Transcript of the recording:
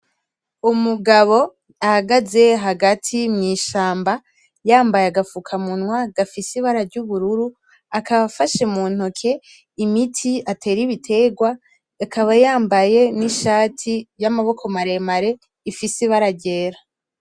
Umugabo ahagaze hagati mw'ishamba yambaye agafukamunwa gafise ibara ry'ubururu. Akaba afashe muntoke imiti atera ibiterwa. Akaba yambaye n'ishati yamaboko maremare ifise ibara ryera.